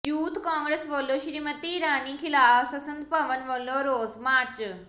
youth Congress ਵੱਲੋਂ ਸਮ੍ਰਿਤੀ ਇਰਾਨੀ ਖ਼ਿਲਾਫ਼ ਸੰਸਦ ਭਵਨ ਵੱਲ ਰੋਸ ਮਾਰਚ